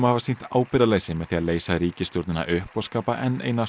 hafa sýnt ábyrgðarleysi með því að leysa ríkisstjórnina upp og skapa enn eina